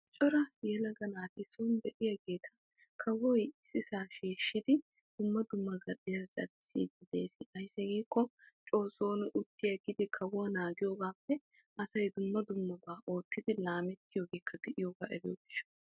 Coraa yelaga naati son de'iyagetta kawoy shiishshiddi oosuwa oottite giide de'ees. Kawuwa naagiyogappe oosuwa medhdhiyooge lo'o gidiyo gishawu.